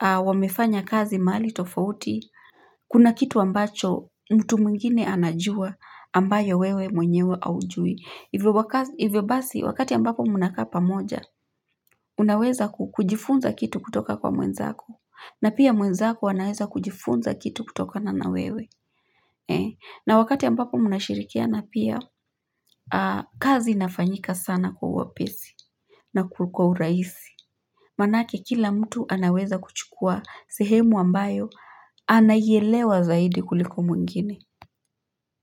Wamefanya kazi mahali tofauti. Kuna kitu ambacho mtu mwingine anajua ambayo wewe mwenyewe haujui. Hivyo basi wakati ambapo mnakaa pamoja unaweza kujifunza kitu kutoka kwa mwenzaku na pia mwenzako anaweza kujifunza kitu kutokana na wewe. Na wakati ambapo mnashirikiana pia kazi inafanyika sana kwa wepesi na kwa urahisi manake kila mtu anaweza kuchukua sehemu ambayo anaielewa zaidi kuliko mwingine.